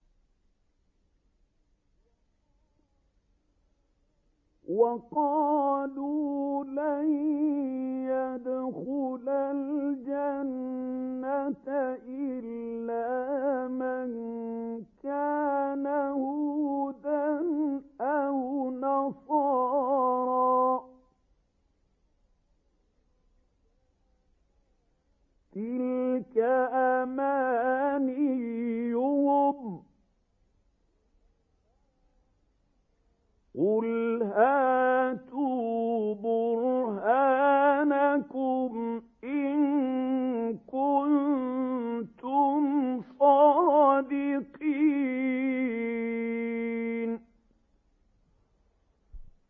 وَقَالُوا لَن يَدْخُلَ الْجَنَّةَ إِلَّا مَن كَانَ هُودًا أَوْ نَصَارَىٰ ۗ تِلْكَ أَمَانِيُّهُمْ ۗ قُلْ هَاتُوا بُرْهَانَكُمْ إِن كُنتُمْ صَادِقِينَ